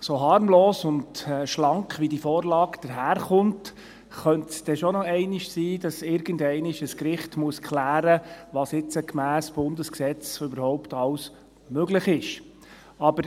So harmlos und schlank, wie die Vorlage daherkommt, könnte es schon sein, dass irgendeinmal ein Gericht klären muss, was gemäss Bundesgesetz alles möglich ist.